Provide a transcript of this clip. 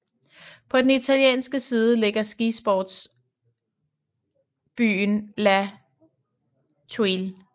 På den italienske side ligger skisportsbyen La Thuile